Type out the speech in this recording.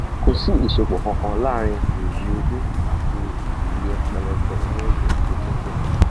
kò sí ìsopọ kankan láàárín óòyì ojú àti iye pẹlẹbẹ inú ẹjẹ tó dínkù um